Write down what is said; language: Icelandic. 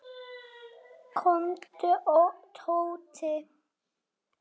Komdu Tóti.